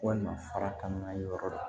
Walima farakan na yɔrɔ dɔ